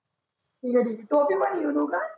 ठिक आहे ठिक आहे टोपी पण घेऊन येऊ का?